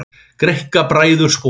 Greikka bræður sporið.